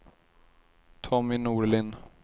Tommy Norlin